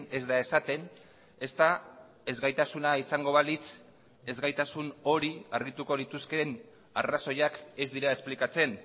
ez da esaten ezta ezgaitasuna izango balitz ezgaitasun hori argituko lituzkeen arrazoiak ez dira esplikatzen